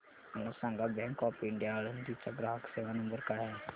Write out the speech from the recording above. मला सांगा bank of India Alandi चा ग्राहक सेवा नंबर काय आहे